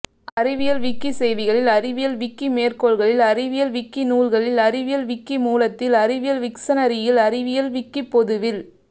அறிவியல் விக்கிசெய்திகளில் அறிவியல் விக்கிமேற்கோள்களில் அறிவியல் விக்கிநூல்களில் அறிவியல் விக்கிமூலத்தில் அறிவியல் விக்சனரியில் அறிவியல் விக்கிப்பொதுவில்